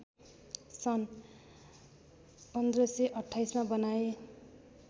सन् १५२८मा बनाए